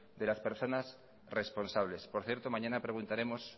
de las personas responsables por cierto mañana preguntaremos